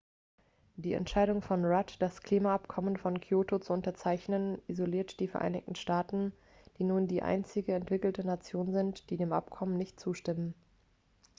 die entscheidung von rudd das klimaabkommen von kyoto zu unterzeichnen isoliert die vereinigten staaten die nun die einzige entwickelte nation sind die dem abkommen nicht zustimmen